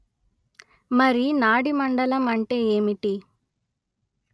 మరి నాడీ మండలం అంటే ఏమిటి